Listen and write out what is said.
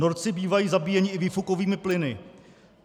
Norci bývají zabíjeni i výfukovými plyny.